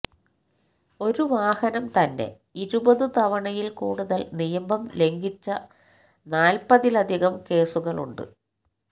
ഒരു വാഹനം തന്നെ ഇരുപതു തവണയിൽ കൂടുതൽ നിയമം ലംഘിച്ച നാൽപ്പതിലധികം കേസുകളുണ്ട്